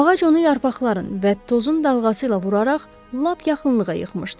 Ağac onu yarpaqların və tozun dalğası ilə vuraraq lap yaxınlığa yıxmışdı.